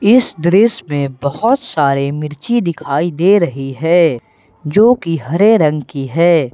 इस दृश्य में बहुत सारे मिर्ची दिखाई दे रही है जो कि हरे रंग की है।